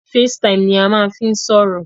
Facetime ni a máa ń fí n sọ̀rọ̀.